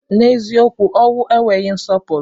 N'eziokwu ọnwụ enweghị nsọpụrụ.